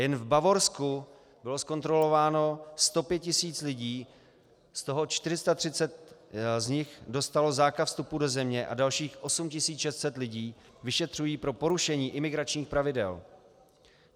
Jen v Bavorsku bylo zkontrolováno 105 tisíc lidí, z toho 430 z nich dostalo zákaz vstupu do země a dalších 8 600 lidí vyšetřují pro porušení imigračních pravidel.